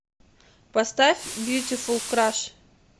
поставь бьютифул краш